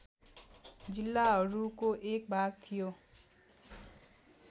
जिल्लाहरूको एक भाग थियो